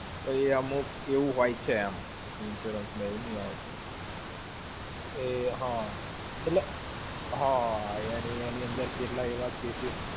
તો એ અમુક એવું હોય છે એમ. Insurance માં એવું નઈ આવતું! એ હા. એટલે, હા એની અંદર કેટલા એવા cases